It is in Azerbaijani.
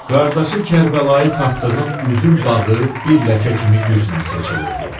Qardaşı Kərbəlayı tapdığın üzüm bağı bir ləkə kimi güclə seçilirdi.